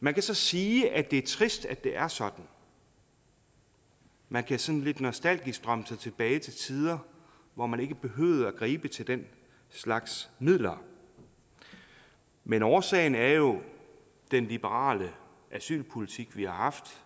man kan så sige at det er trist at det er sådan man kan sådan lidt nostalgisk drømme sig tilbage til tider hvor man ikke behøvede at gribe til den slags midler men årsagen er jo den liberale asylpolitik vi har haft